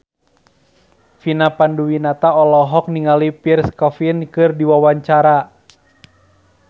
Vina Panduwinata olohok ningali Pierre Coffin keur diwawancara